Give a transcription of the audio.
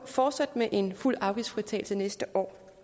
fortsat med en fuld afgiftsfritagelse næste år